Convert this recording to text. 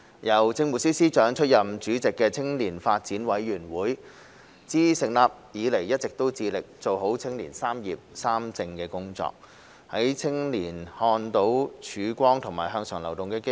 由政務司司長出任主席的青年發展委員會，自成立以來一直致力做好青年"三業三政"的工作，讓青年看到曙光和向上流動的機會。